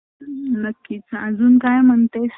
ज्यांना जे आपले मोठे आहे त्यांना व्यवस्तीत बोलतो